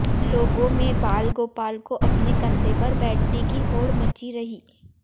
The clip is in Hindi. लोगो में बाल गोपाल को अपने कंधे पर बैठने की होड़ मची रही